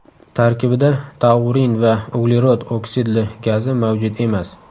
Tarkibida taurin va uglerod oksidli gazi mavjud emas.